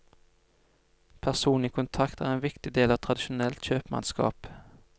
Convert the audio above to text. Personlig kontakt er en viktig del av tradisjonelt kjøpmannsskap.